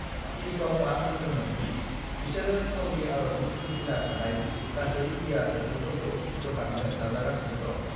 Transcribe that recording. इचबाउमा बुंदोंमोन दि बिसोरो साउदी आरबनि फिरफिला थानाय गासै बियार बथलफोरखौ बोखारनो नाजागासिनो दं।